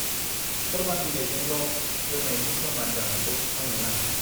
फोरमान बिलाइजोंल' रोंनायनि फोरमान जानायखौ आंनो नाङा ।